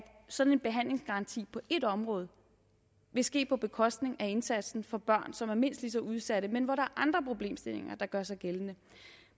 sådan en behandlingsgaranti på ét område vil ske på bekostning af indsatsen for børn som er mindst lige så udsatte men hvor der er andre problemstillinger der gør sig gældende